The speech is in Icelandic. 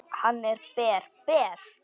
Hann er ber, ber.